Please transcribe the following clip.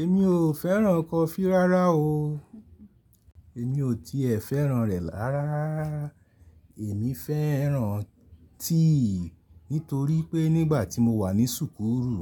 Èmi ò fẹ́ràn kọfí rárá o. Èmi ò tiẹ̀ fẹ́ràn rẹ̀ rárá. Èmi fẹ́ràn tea nítorí pé nígbà tí mo wà ní súkúrù